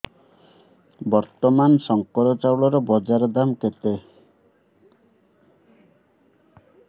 ବର୍ତ୍ତମାନ ଶଙ୍କର ଚାଉଳର ବଜାର ଦାମ୍ କେତେ